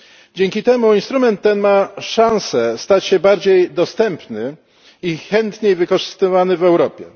Dzięki temu instrument ten ma szansę stać się bardziej dostępny i chętniej wykorzystywany w Europie.